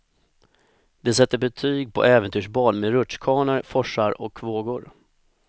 De sätter betyg på äventyrsbad med rutschkanor, forsar och vågor.